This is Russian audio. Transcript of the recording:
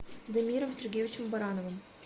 дамиром сергеевичем барановым